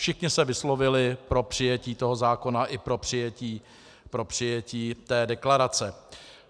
Všichni se vyslovili pro přijetí toho zákona i pro přijetí té deklarace.